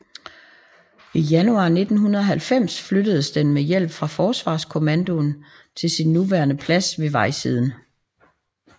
I januar 1990 flyttedes den med hjælp fra Forsvarskommandoen til sin nuværende plads ved vejsiden